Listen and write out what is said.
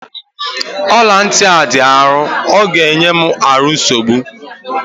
ọla ntị a dị arọ ọ ga-enye m ahụ nsogbu